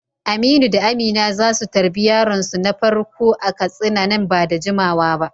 Aminu da Amina za su tarbi yaronsu na farko a Katsina nan ba da jimawa ba.